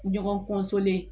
Ɲɔgɔn